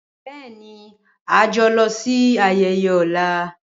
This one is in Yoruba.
Bẹẹni, a yoo lọ si ayeye ọla.